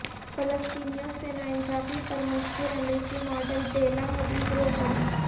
فلسطینیوں سے ناانصافی پر مشہور امریکی ماڈل بیلا حدید رو پڑی